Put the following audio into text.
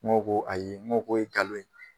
Ŋɔ ko ayi ŋɔ k'o ye kalon ye